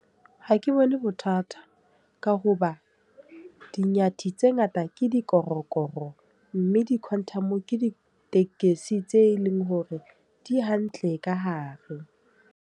Ha ke bone bothata. Ka hoba di-Nyathi tse ngata ke dikorokoro. Mme di-quantum, ke ditekesi tse leng hore di hantle ka hare.